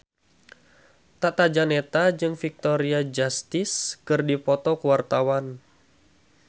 Tata Janeta jeung Victoria Justice keur dipoto ku wartawan